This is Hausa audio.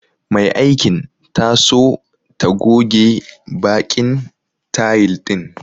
Mai aikin ta so ta goge baƙin tayil ɗin.